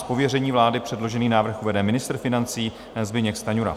Z pověření vlády předložený návrh uvede ministr financí Zbyněk Stanjura.